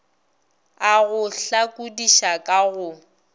a go hlakodiša ka go